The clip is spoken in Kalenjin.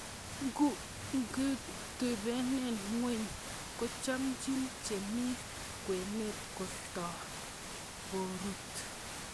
Ingebutunen ngweny kochomchin chemi kwenet kotokorut.